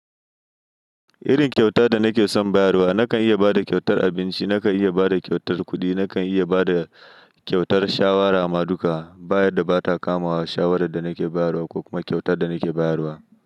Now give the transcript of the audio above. Irin kyauta da nake son bayarwa, nakan iya ba da kyautar abinci, nakan iya ba da kyautar kuɗi, nakan iya ba da kyautar shawara ma duka, ba'da da ba ta kamawa shawarar da nake bayarwa ko kuma kyautar da nake bayarwa.